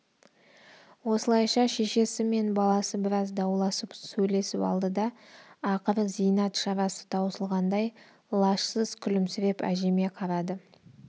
осылайша шешесі мен баласы біраз дауласып сөйлесіп алды да ақыры зейнат шарасы таусылғандай лажсыз күлімсіреп әжеме қарады